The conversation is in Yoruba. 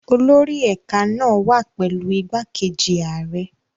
Olórí ẹ̀ka náà wà pẹ̀lú igbákejì ààrẹ.